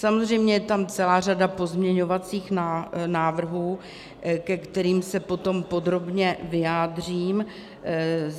Samozřejmě je tam celá řada pozměňovacích návrhů, ke kterým se potom podrobně vyjádřím.